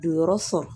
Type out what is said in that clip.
Donyɔrɔ sɔn